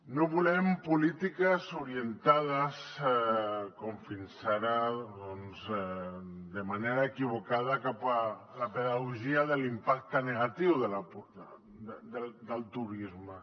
no volem polítiques orientades com fins ara de manera equivocada cap a la pedagogia de l’impacte negatiu del turisme